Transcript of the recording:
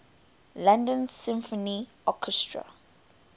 london symphony orchestra